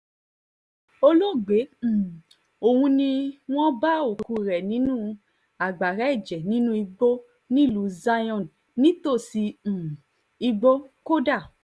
olóògbé um ọ̀hún ni wọ́n bá òkú rẹ̀ nínú agbára ẹ̀jẹ̀ nínú igbó nílùú zion nítòsí um ìgbókódá